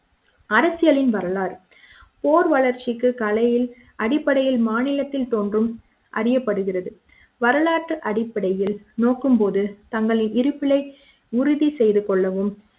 அரசியலின் வரலாறு போர் வளர்ச்சிக்கு கலையில் அடிப்படையில் மானியத்தில் தோன்றும் அறியப்படுகிறது வரலாற்று அடிப்படையில் நோக்கும் போது தங்களின் இருப்பினை உறுதி செய்து கொள்ளவும்